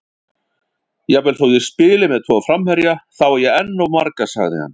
Jafnvel þó ég spili með tvo framherja, þá á ég enn of marga, sagði hann.